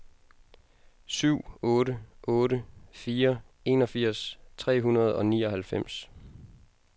syv otte otte fire enogfirs tre hundrede og nioghalvfems